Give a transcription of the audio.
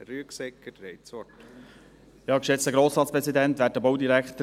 Herr Rüegsegger, Sie haben das Wort.